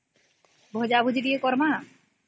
ଭଜା ଭାଜି ଟିକେ କରିବା